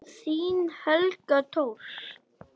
Þín Helga Thors.